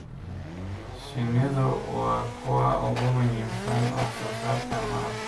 Shinnidu waa kuwa ugu muhiimsan wax soo saarka malabka.